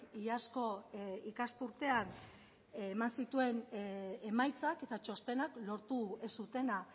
iazko ikasturtean eman zituen emaitzak eta txostenak lortu ez zutena